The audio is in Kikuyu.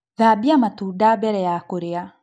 Thambia matunda mbele ya kũrĩa